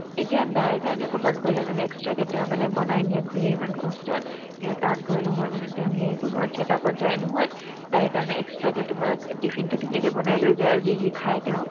এতিয়া দাইৰ কাৰণে ক'ৰবাত গ'লে মানে extra কে তেওঁ মানে বনাই নিয়ে খুৰীয়ে ইমান কষ্টত কিন্তু তাত গৈ নহয় মানে তেওঁ সেয়ে কৰিব আৰু check up ত যায় নহয় দাইৰ কাৰণে extra কে তোমাৰ অ টিফনটোতো ধুনীয়াকে বনাই লৈ যায় আৰু যি যি খাই তেওঁ